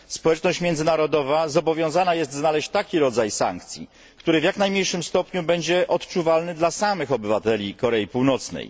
Społeczność międzynarodowa zobowiązana jest znaleźć taki rodzaj sankcji, który w jak najmniejszym stopniu będzie odczuwalny dla samych obywateli Korei Północnej.